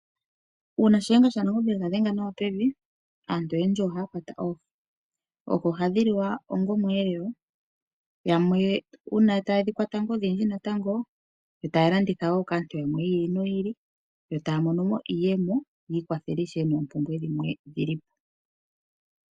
Uuna Shiyenga shaNangombe yega dhenga nawa pevi aantu oyendji ohaya kwata oohi. Oohi ohadhi liwa onga osheelelwa. Uuna yamwe taya odhindji natango, yo taya landitha wo kaantu yamwe yiili noyili, yo taya monomo iiyemo yiikwathe moompumbwe dhawo.